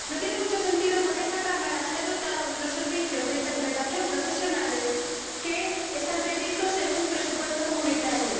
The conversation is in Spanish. No tiene mucho sentido porque esta Cámara se ha dotado de unos servicios de interpretación profesionales, que están previstos en un presupuesto comunitario.